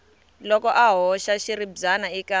loko a hoxa xiribyana eka